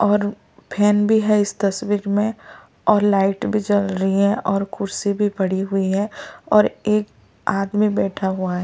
और फैन भी है इस तस्वीर में और लाइट भी जल रही है और कुर्सी भी पड़ी हुई है और एक आदमी बैठा हुआ --